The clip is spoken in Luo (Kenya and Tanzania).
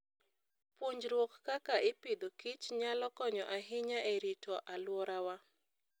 Puonjruok kaka iAgriculture and Food nyalo konyo ahinya e rito alworawa.